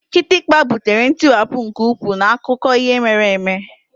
Kịtịkpa butere ntiwapụ nke ukwuu n'akụkọ ihe mere eme.